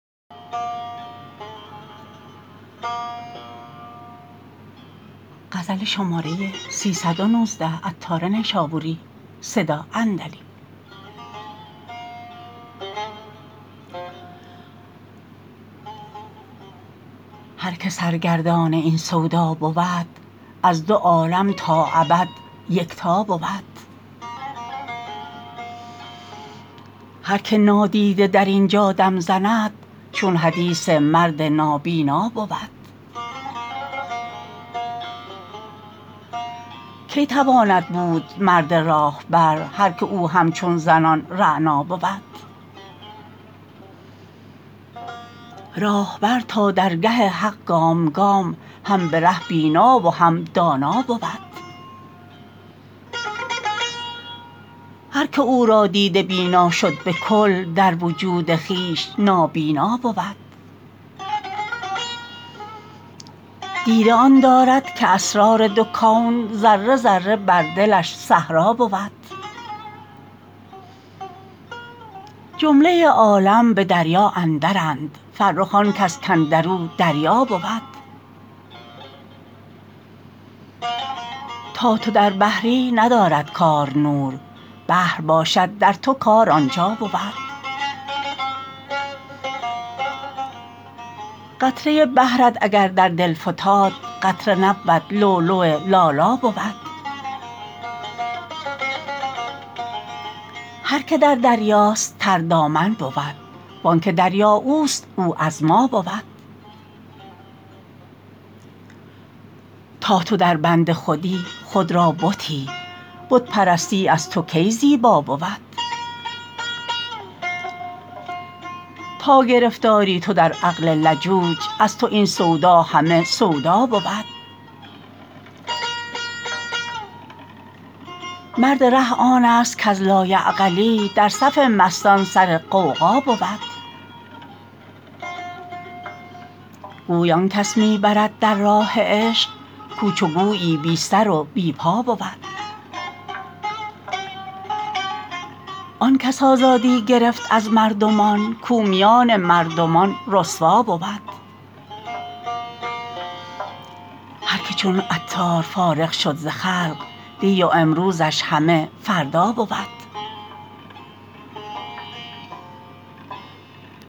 هر که سرگردان این سودا بود از دو عالم تا ابد یکتا بود هر که نادیده در اینجا دم زند چو حدیث مرد نابینا بود کی تواند بود مرد راهبر هر که او همچون زنان رعنا بود راهبر تا درگه حق گام گام هم بره بینا و هم دانا بود هر که او را دیده بینا شد به کل در وجود خویش نابینا بود دیده آن دارد که اسرار دو کون ذره ذره بر دلش صحرا بود جمله عالم به دریا اندرند فرخ آنکس کاندرو دریا بود تا تو در بحری ندارد کار نور بحر در تو نور کار اینجا بود قطره بحرت اگر در دل فتاد قطره نبود لؤلؤ لالا بود هر که در دریاست تر دامن بود وانکه دریا اوست او از ما بود تا تو دربند خودی خود را بتی بت پرستی از تو کی زیبا بود تا گرفتاری تو در عقل لجوج از تو این سودا همه سودا بود مرد ره آن است کز لایعقلی در صف مستان سر غوغا بود گوی آنکس می برد در راه عشق کو چو گویی بی سر و بی پا بود آن کس آزادی گرفت از مردمان کو میان مردمان رسوا بود هر که چون عطار فارغ شد ز خلق دی و امروزش همه فردا بود